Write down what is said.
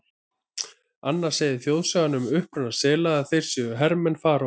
Annars segir þjóðsagan um uppruna sela að þeir séu hermenn Faraós.